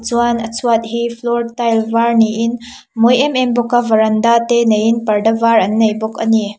chuan a chhuat hi floor tile var niin a mawi em em bawk a varanda te neiin parda var an nei bawk a ni.